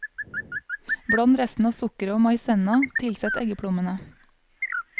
Bland resten av sukkeret og maisenna, tilsett eggeplommene.